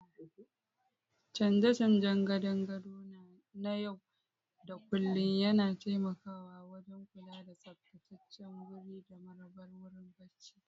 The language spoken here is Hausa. Canje-canjen gadon gado na yau da kullun yana taimakawa wajen kula da tsaftataccen wuri da marabar wurin barci.